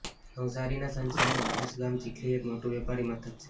નવસારીના સાંસદનું આદર્શ ગામ ચીખલી એક મોટું વેપારી મથક છે